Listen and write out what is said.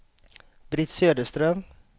Britt Söderström